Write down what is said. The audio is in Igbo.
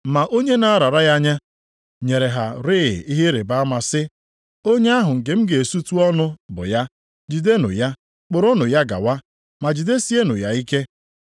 Ma onye na-arara ya nye, nyere ha rịị ihe ịrịbama sị, “Onye ahụ nke m ga-esutu ọnụ bụ ya; jidenụ ya, kpụrụnụ ya gawa, ma jidesiekwanụ ya ike.”